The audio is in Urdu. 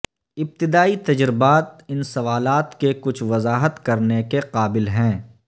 ابتدائی تجربات ان سوالات کے کچھ وضاحت کرنے کے قابل ہیں